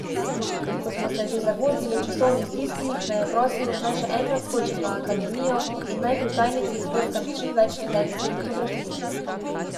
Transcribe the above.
Ko smo se že zagozdili v časovni stiski, me je prosil, naj še enkrat skočim na akademijo in naj pri tajnici izbrskam čim več študentskih fotografij.